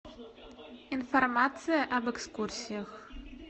информация об экскурсиях